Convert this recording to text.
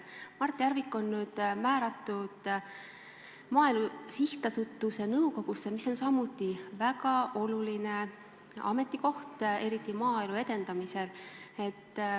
Mart Järvik on nüüd määratud Maaelu Edendamise Sihtasutuse nõukogusse, mis on samuti väga oluline ametikoht, eriti maaelu edendamisel.